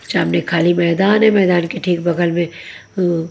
सामने खाली मैदान है मैदान के ठीक बगल में अ--